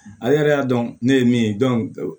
Ale yɛrɛ y'a dɔn ne ye min ye